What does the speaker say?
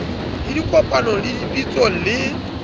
le dikopanong le dipitsong le